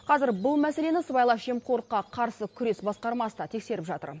қазір бұл мәселені сыбайлас жемқорлыққа қарсы күрес басқармасы да тексеріп жатыр